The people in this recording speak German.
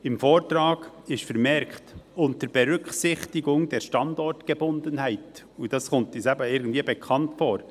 Im Vortrag ist vermerkt «unter Berücksichtigung der Standortgebundenheit», und das kommt uns irgendwie bekannt vor.